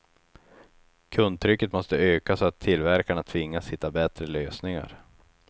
Kundtrycket måste öka så att tillverkarna tvingas hitta bättre lösningar.